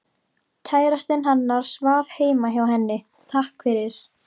Kærastinn hennar svaf heima hjá henni, takk fyrir